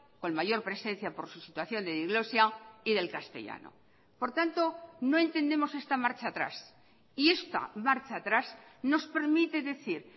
con mayor presencia por su situación de diglosia y del castellano por tanto no entendemos esta marcha atrás y esta marcha atrás nos permite decir